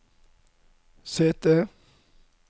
sete